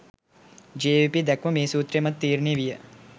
ජවිපෙ දැක්ම මේ සූත්‍රය මත තීරණය විය